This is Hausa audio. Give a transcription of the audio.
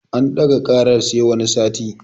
An ɗaga ƙarar sai wani sati